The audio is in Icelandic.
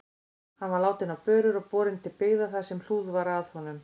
Hann var látinn á börur og borinn til byggða þar sem hlúð var að honum.